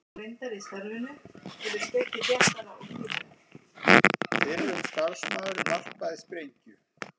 Fyrrum starfsmaður varpaði sprengju